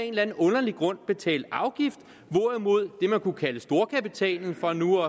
en eller anden underlig grund betale en afgift hvorimod det man kunne kalde storkapitalen for nu